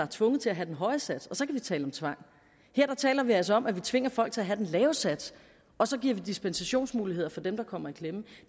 tvunget til at have den høje sats og så vi tale om tvang her taler vi altså om at vi tvinger folk til at have den lave sats og så giver vi dispensationsmuligheder for dem der kommer i klemme